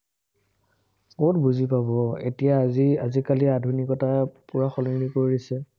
কত বুজি পাব, এতিয়া আজি আজিকালি আধুনিকতা পুৰা সলনি কৰি দিছে,